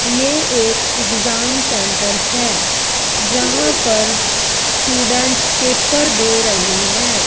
ये एक exam centre हैं जहां पर स्टूडेंट पेपर दे रहें हैं।